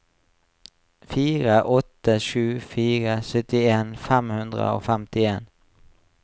fire åtte sju fire syttien fem hundre og femtien